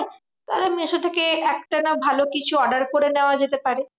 তাহলে মিশো থেকে একটা না ভালো কিছু order করে নেওয়া যেতে পারে।